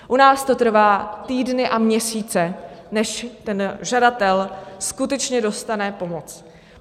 U nás to trvá týdny a měsíce, než ten žadatel skutečně dostane pomoc.